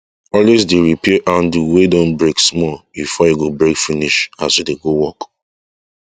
always dey repair handle wry don break small before e go break finish as u dey work